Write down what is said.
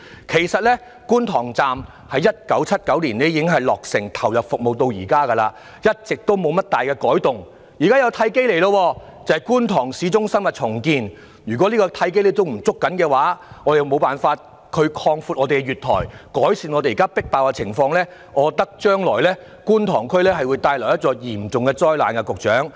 其實，觀塘站在1979年已落成投入服務至今，一直未有大改動，現時有一個契機，就是觀塘市中心重建，如果港鐵公司未能抓緊這個契機來擴闊月台，改善現時迫爆的情況，我覺得將來會為觀塘區帶來嚴重的災難。